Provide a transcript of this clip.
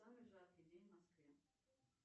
самый жаркий день в москве